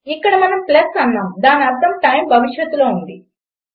ఇక్కడ మనం ప్లస్ అన్నాము దాని అర్థం టైమ్ భవిష్యత్తులో ఉంది